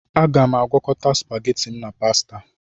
Aga-agwokọta supageti m na pasita